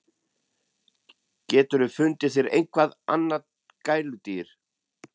GETUR FUNDIÐ ÞÉR EITTHVERT ANNAÐ GÆLUDÝR!